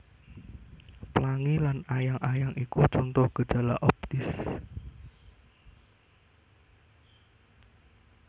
Plangi lan ayang ayang iku conto gejala optis